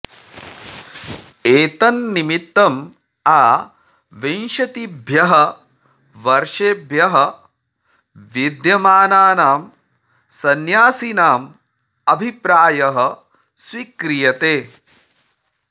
एतन्निमित्तं आ विंशतिभ्यः वर्षेभ्यः विद्यमानानां संन्यासिनाम् अभिप्रायः स्वीक्रियते